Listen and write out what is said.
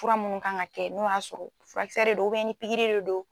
Fura minnu kan ka kɛ n'o y'a sɔrɔ furakisɛ de do ni pikiri de do.